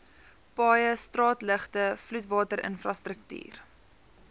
paaie straatligte vloedwaterinfrastruktuur